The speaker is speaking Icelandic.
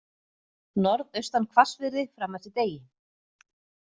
Norðaustan hvassviðri fram eftir degi